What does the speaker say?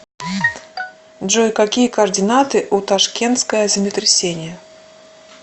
джой какие координаты у ташкентское землетрясение